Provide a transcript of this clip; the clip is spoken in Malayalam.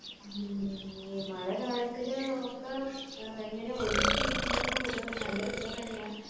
മ് ഈ മള കാലത്തില് ഒക്ക ഇങ്ങനെ ഒരുമിച്ച് ഇരിക്കുന്നത് ഒരു നല്ല തന്നെയാ